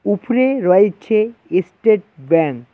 উপরে রয়েছে estate bank.